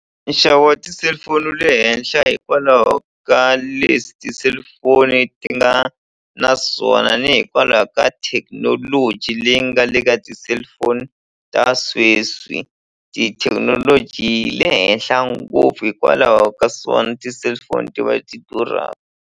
Nxavo wa ti-cellphone wu le henhla hikwalaho ka leswi ti-cellphone ti nga na swona ni hikwalaho ka thekinoloji leyi nga le ka ti-cellphone ta sweswi tithekinoloji le henhla ngopfu hikwalaho ka swona ti-cellphone ti va ti durhaka.